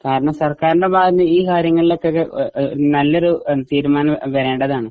കാരണം സർക്കാരിൻറെ ഭാഗത്തുനിന്നും ഈ കാര്യങ്ങളിലൊക്കെക്കെ ഏ ഏ നല്ലൊരു തീരുമാനം വരേണ്ടതാണ്.